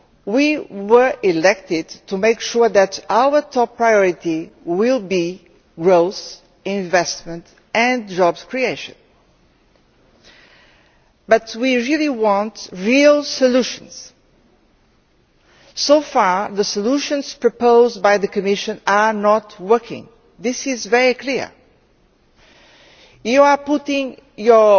We were elected to make sure that our top priority would be growth, investment and job creation. But we really want real solutions. So far the solutions proposed by the Commission are not working this is very clear. You are putting your